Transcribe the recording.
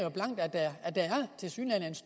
herre hans